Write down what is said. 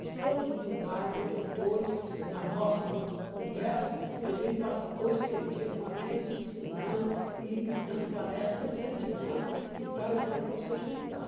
de todos os lugares, vem doutores, na nossa con congresso, ele vem e passa dois, três dias com a gente, ensinando e dando palestras, incentivando e tal, ensinando para você estudar.